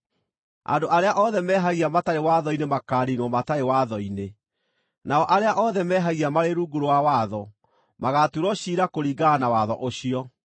Andũ arĩa othe mehagia matarĩ watho-inĩ makaaniinwo matarĩ watho-inĩ, nao arĩa othe mehagia marĩ rungu rwa watho magaatuĩrwo ciira kũringana na watho ũcio.